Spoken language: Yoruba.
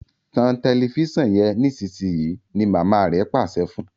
tan Tẹlifíṣàn yen nísìsiyìí! ní mama rẹ Pàṣẹ fún.